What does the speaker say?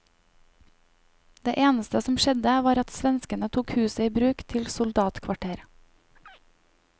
Det eneste som skjedde var at svenskene tok huset i bruk til soldatkvarter.